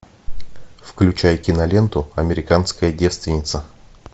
включай киноленту американская девственница